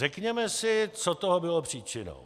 Řekněme si, co toho bylo příčinou.